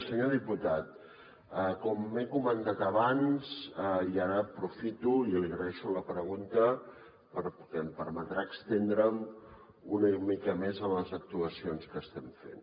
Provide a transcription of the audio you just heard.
senyor diputat com he comentat abans i ara aprofito i li agraeixo la pregunta perquè em permetrà estendre’m una mica més en les actuacions que estem fent